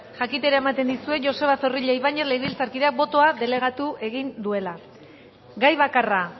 jakitera ematen dizuet joseba zorrilla ibañez legebiltzarkideak botoa delegatu egin duela gai bakarra